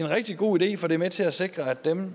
rigtig god idé for det er med til at sikre at dem